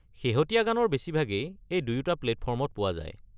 শেহতীয়া গানৰ বেছিভাগেই এই দুয়োটা প্লেটফৰ্মত পোৱা যায়।